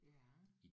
Ja